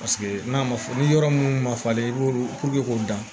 Paseke n'a ma fɔ ni yɔrɔ munnu ma falen i b'olu puruke k'o dan